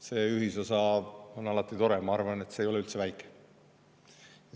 See ühisosa on alati tore ja ma arvan, et see ei ole üldse väike.